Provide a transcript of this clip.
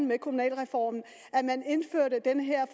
med kommunalreformen indførte den her